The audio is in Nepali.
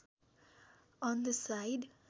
on the side